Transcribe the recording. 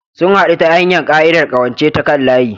Sun haɗu ta hanyar ƙa'idar ƙawance ta kan layi.